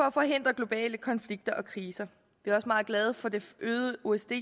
at forhindre globale konflikter og kriser vi er også meget glade for det øgede osce